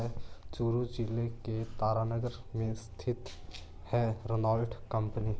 चुरू जिले के तारानगर में स्थित है रोनालट कंपनी।